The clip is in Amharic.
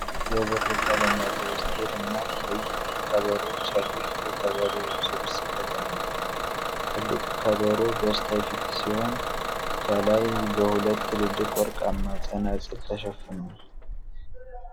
የብር ቀለም ያለው ስቴል እና ቀይ ከበሮዎች ያሉት የከበሮ ስብስብ ተቀምጧል ። ትልቁ ከበሮ በስተፊት ሲሆን፣ ከላይ በሁለት ትልልቅ ወርቃማ ጸናጽል ተሸፍኗል።